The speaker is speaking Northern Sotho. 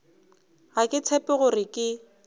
ga ke tshepe gore ke